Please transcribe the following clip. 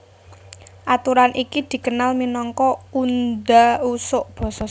Aturan iki dikenal minangka undha usuk basa